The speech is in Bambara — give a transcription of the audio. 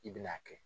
I bɛn'a kɛ